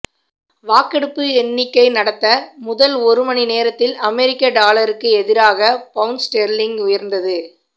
வாக்கெடுப்பு எண்ணிக்கை நடந்த முதல் ஒரு மணி நேரத்தில் அமெரிக்க டாலருக்கு எதிராக பவுண்ட் ஸ்டெர்லிங் உயர்ந்தது